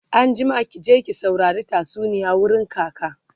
anjima ki je ki saurari tatsuniya wurin kaka!